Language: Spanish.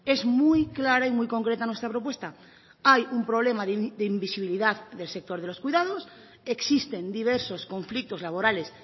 es muy clara y muy concreta nuestra propuesta hay un problema de invisibilidad del sector de los cuidados existen diversos conflictos laborales